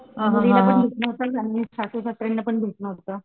मुलीला पण घेतलं नव्हतं सासू सासऱ्याला पण घेतलं नव्हतं.